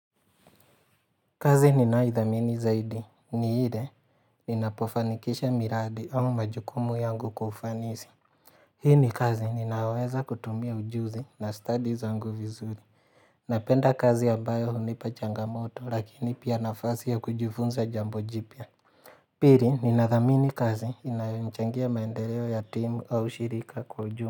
Kazi ninayo idhamini zaidi ni ile ninapofanikisha miradi au majukumu yangu kufanisi. Hii ni kazi ninaoweza kutumia ujuzi na study zangu vizuri. Napenda kazi ambayo hunipa changamoto lakini pia nafasi ya kujifunza jambo jipia. Pili ninathamini kazi inayonichangia maendeleo ya timu au shirika kujumla.